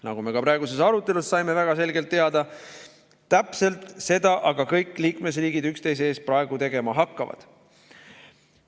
Nagu me ka praeguses arutelus väga selgelt teada saime, täpselt seda aga kõik liikmesriigid üksteise eest praegu tegema hakkavad.